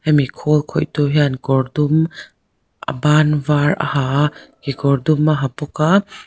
hemi khawl khawih tu hian kawr dum a ban var a ha a kekawr dum a ha bawk a.